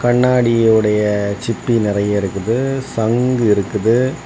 கண்ணாடியுடைய சிப்பி நறைய இருக்குது சங்கு இருக்குது.